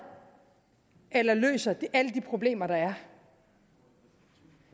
eller løser alle de problemer der er